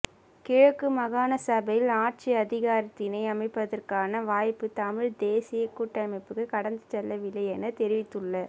கிழக்கு மாகாணசபையில் ஆட்சி அதிகாரத்தினை அமைப்பதற்கான வாய்ப்பு தமிழ்த் தேசியக் கூட்டமைப்புக்கு கடந்து செல்லவில்லையென தெரிவித்துள்ள